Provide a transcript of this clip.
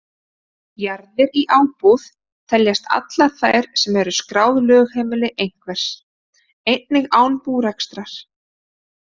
Jarðir í ábúð teljast allar þær sem eru skráð lögheimili einhvers, einnig án búrekstrar.